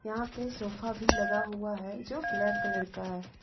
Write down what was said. यहां पे सोफा भी लगा हुआ है जो ब्लैक कलर का है।